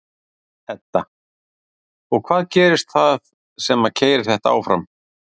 Edda: Og hvað gerist þar sem að keyrir þetta áfram?